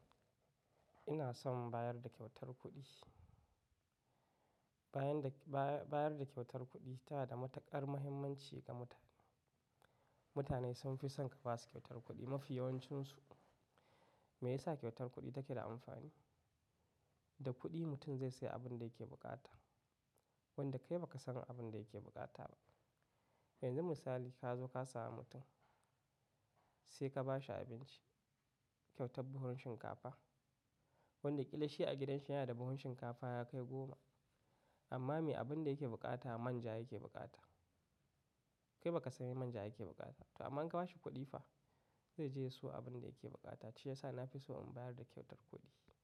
Ina son bayar da kyautar kuɗi. Bayar da kyautar kuɗi ta da matuƙar mahimmanci ga mutane. Mutane sun fi son ka ba su kyautar kuɗi mafi yawancinsu. Me yasa kyautar kuɗi take da amfani? Da kuɗi mutum zai sayi abin da yake buƙata wanda kai baka san abin da yake bukata ba. Mai zan misali, ka zo ka sami mutum sai ka ba shi abinci, kyauta buhun shinkafa wanda ƙila shi a gidansa yana da buhun shinkafa ya kai goma. Amma me abin da yake buƙata man ja yake buƙata. Kai baka sani man ja yake bukata ba amma in ka ba shi kuɗi fa zai je ya siyo abin da yake bukata shi ya sa na fi so in bayar da kyautar kuɗi.